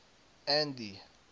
andy